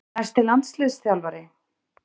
Næsti landsliðsþjálfari?